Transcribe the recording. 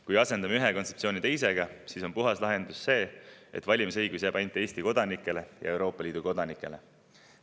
Kui asendame ühe kontseptsiooni teisega, siis on puhas lahendus see, et valimisõigus jääb ainult Eesti kodanikele ja Euroopa Liidu kodanikele.